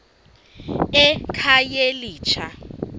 ekhayelitsha